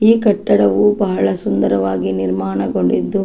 ಈ ಕಟ್ಟಡವು ಬಹಳ ಸುಂದರವಾಗಿ ನಿರ್ಮಾಣಗೊಂಡಿದ್ದು --